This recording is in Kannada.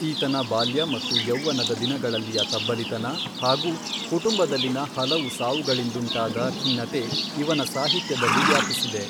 ಈತನ ಬಾಲ್ಯ ಮತ್ತು ಯೌವನದ ದಿನಗಳಲ್ಲಿಯ ತಬ್ಬಲಿತನ ಹಾಗೂ ಕುಟುಂಬದಲ್ಲಿನ ಹಲವು ಸಾವುಗಳಿಂದುಂಟಾದ ಖಿನ್ನತೆ ಇವನ ಸಾಹಿತ್ಯದಲ್ಲಿ ವ್ಯಾಪಿಸಿದೆ.